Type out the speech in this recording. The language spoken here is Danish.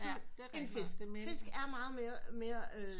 End fisk fisk er meget mere øh